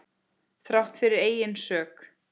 Þrátt fyrir eigin sök.